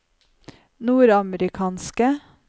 nordamerikanske